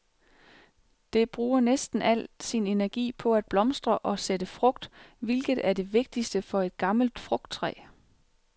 Det bruger næsten al sin energi på at blomstre og sætte frugt, hvilket er det vigtigste for et gammelt frugttræ.